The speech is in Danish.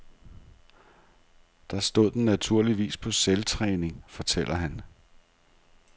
Der stod den naturligvis på selvtræning, fortæller han.